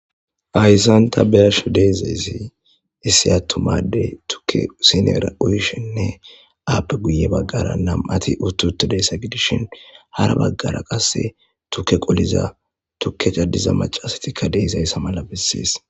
Hayssan ta be'ashe dizzayisi issi attuma addey tukke sinnera uyishenne appe guye baggara namati utti uttidayisa giddishin hara baggara qase tukke qolliza tukke caddiza maccasati dizzayisa malla bessesi.